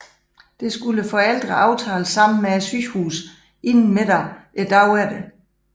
Det skulle forældrene aftale sammen med sygehuset inden middag dagen efter